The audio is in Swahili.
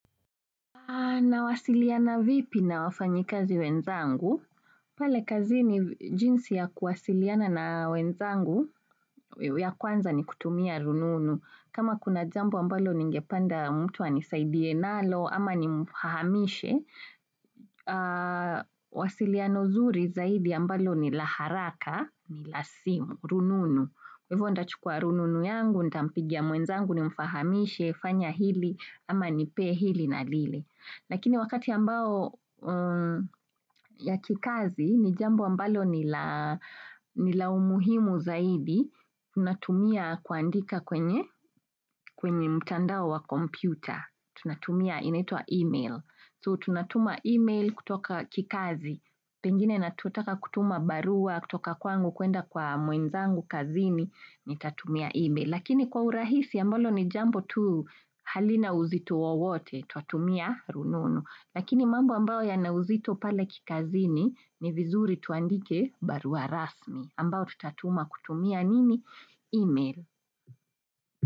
Nawasiliana vipi na wafanyikazi wenzangu? Pale kazini jinsi ya kuwasiliana na wenzangu ya kwanza ni kutumia rununu. Kama kuna jambo ambalo ningependa mtu anisaidie nalo ama nimfahamishe. Wasiliano zuri zaidi ambalo ni la haraka ni la simu rununu. Kwa hivyo ndachukua rununu yangu ndampigia mwenzangu ni mfahamishe fanya hili ama nipe hili na lile. Lakini wakati ambao. Ya kikazi ni jambo ambalo ni la. Ni la umuhimu zaidi tunatumia kuandika kwenye. Kwenye mtandao wa kompyuta tunatumia inaitwa email so tunatuma email kutoka kikazi pengine natutaka kutuma barua kutoka kwangu kuenda kwa mwenzangu kazini nitatumia email. Lakini kwa urahisi ambalo ni jambo tu halina uzito wowote tuatumia rununu. Lakini mambo ambayo yana uzito pale kikazini ni vizuri tuandike barua rasmi. Ambayo tutatuma kutumia nini email.